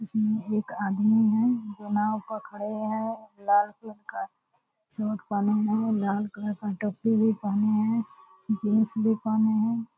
ये एक आदमी हैं जो नाव पर खड़े हैं लाल कलर का सूट पहने हैं लाल कलर का टोपी भी पहने हैं जींस भी पहने हैं।